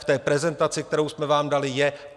V té prezentaci, kterou jsme vám dali, je.